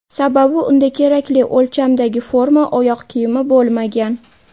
Sababi unda kerakli o‘lchamdagi forma oyoq kiyimi bo‘lmagan.